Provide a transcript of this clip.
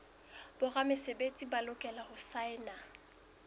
boramesebetsi ba lokela ho saena